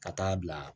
Ka taa bila